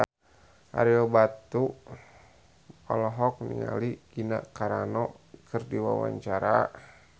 Ario Batu olohok ningali Gina Carano keur diwawancara